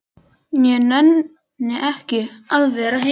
Ég nenni ekki að vera heima.